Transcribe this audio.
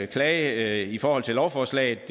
klage i forhold til lovforslag